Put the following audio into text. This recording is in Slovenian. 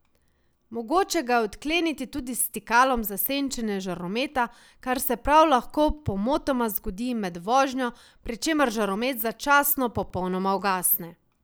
Mogoče ga je odkleniti tudi s stikalom za senčenje žarometa, kar se prav lahko pomotoma zgodi med vožnjo, pri čemer žaromet začasno popolnoma ugasne.